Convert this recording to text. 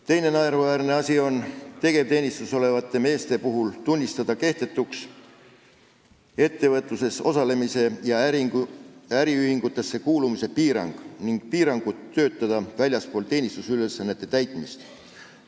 Teine naeruväärne asi on tunnistada kehtetuks tegevteenistuses olevate meeste ettevõtluses osalemise ja äriühingutesse kuulumise piirang ning väljaspool teenistusülesannete täitmist töötamise piirangud.